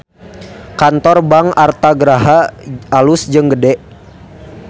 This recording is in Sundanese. Kantor Bank Artha Graha alus jeung gede